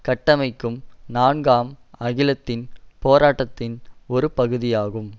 கட்டமைக்கும் நான்காம் அகிலத்தின் போராட்டத்தின் ஒரு பகுதி ஆகும்